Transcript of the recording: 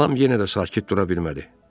Lam yenə də sakit dura bilmədi.